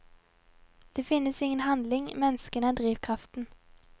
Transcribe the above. Det finnes ingen handling, menneskene er drivkraften.